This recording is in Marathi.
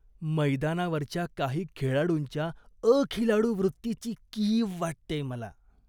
मैदानावरच्या काही खेळाडूंच्या अखिलाडूवृत्तीची कीव वाटतेय मला.